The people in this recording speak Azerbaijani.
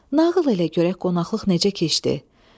Nağıl elə görək qonaqlıq necə keçdi?